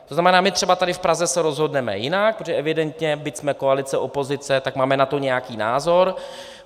To znamená, my třeba tady v Praze se rozhodneme jinak, protože evidentně, byť jsme koalice, opozice, tak máme na to nějaký názor.